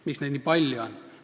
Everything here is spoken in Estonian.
Miks neid nii palju on?